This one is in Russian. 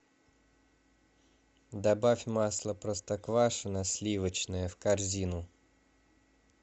добавь масло простоквашино сливочное в корзину